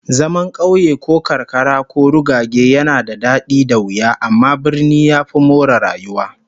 Zaman kauye ko karkara ko rugage yana da dadi da wuya, amma birni ya fi more rayuwa